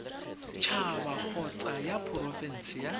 haba kgotsa ya porofense ya